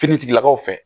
Finitigilakaw fɛ